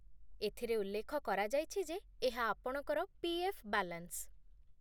ଏଥିରେ ଉଲ୍ଲେଖ କରାଯାଇଛି ଯେ ଏହା ଆପଣଙ୍କର ପି.ଏଫ୍. ବାଲାନ୍ସ